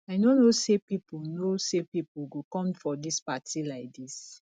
i no know say people know say people go come for dis party like dis